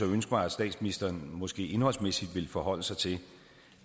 ønske mig at statsministeren måske indholdsmæssigt ville forholde sig til